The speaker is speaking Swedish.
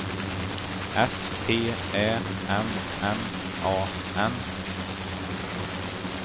S T Ä M M A N